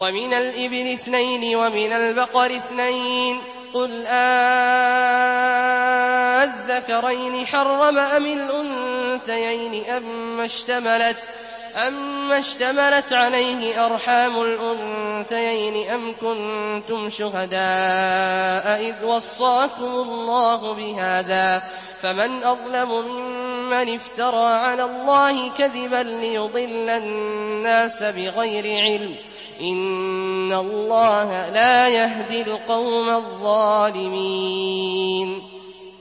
وَمِنَ الْإِبِلِ اثْنَيْنِ وَمِنَ الْبَقَرِ اثْنَيْنِ ۗ قُلْ آلذَّكَرَيْنِ حَرَّمَ أَمِ الْأُنثَيَيْنِ أَمَّا اشْتَمَلَتْ عَلَيْهِ أَرْحَامُ الْأُنثَيَيْنِ ۖ أَمْ كُنتُمْ شُهَدَاءَ إِذْ وَصَّاكُمُ اللَّهُ بِهَٰذَا ۚ فَمَنْ أَظْلَمُ مِمَّنِ افْتَرَىٰ عَلَى اللَّهِ كَذِبًا لِّيُضِلَّ النَّاسَ بِغَيْرِ عِلْمٍ ۗ إِنَّ اللَّهَ لَا يَهْدِي الْقَوْمَ الظَّالِمِينَ